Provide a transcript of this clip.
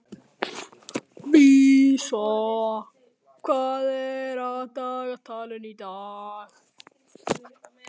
Vísa, hvað er á dagatalinu í dag?